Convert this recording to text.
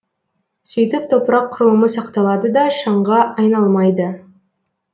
сөйтіп топырақ құрылымы сақталады да шаңға айналмайды